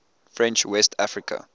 french west africa